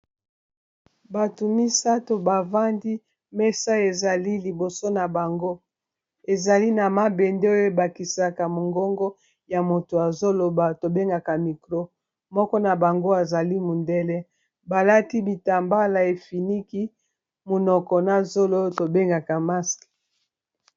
batu misatu bavandi mesa ezali liboso na bango ezali na mabende oyo ebakisaka mongongo ya moto azoloba tobengaka micro moko na bango azali mundele balati bitambala efiniki munoko na zolo tobengaka masque